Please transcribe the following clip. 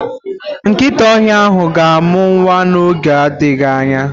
Nkịta ọhịa ahụ ga-amụ nwa n'oge adịghị anya.